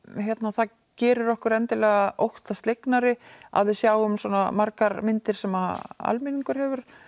það gerir okkur endilega óttaslegnari að við sjáum svona margar myndir sem almenningur hefur